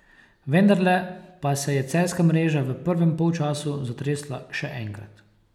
Vendarle pa se je celjska mreža v prvem polčasu zatresla še enkrat.